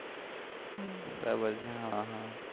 બરાબર છે હા હા